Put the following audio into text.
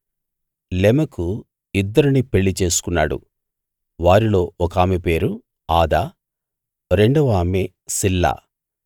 లెమెకు ఇద్దరిని పెళ్ళి చేసుకున్నాడు వారిలో ఒకామె పేరు ఆదా రెండవ ఆమె సిల్లా